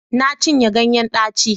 Na cinye ganyen daci